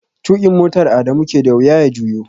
Tukin motar Adamu ke da wuya ya juyo